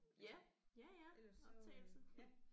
Ja. Ja ja optagelse